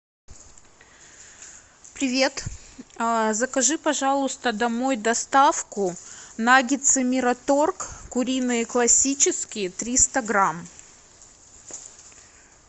привет закажи пожалуйста домой доставку наггетсы мираторг куриные классические триста грамм